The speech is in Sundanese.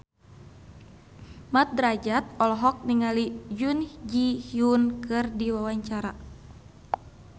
Mat Drajat olohok ningali Jun Ji Hyun keur diwawancara